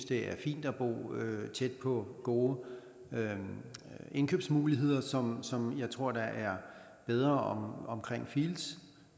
det er fint at bo tæt på gode indkøbsmuligheder som som jeg tror er bedre ved fields